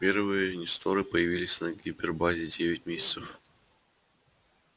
первые несторы появились на гипербазе девять месяцев